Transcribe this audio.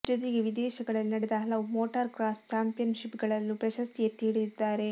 ಜೊತೆಗೆ ವಿದೇಶಗಳಲ್ಲಿ ನಡೆದ ಹಲವು ಮೋಟಾರ್ ಕ್ರಾಸ್ ಚಾಂಪಿಯನ್ಷಿಪ್ಗಳಲ್ಲೂ ಪ್ರಶಸ್ತಿ ಎತ್ತಿ ಹಿಡಿದಿದ್ದಾರೆ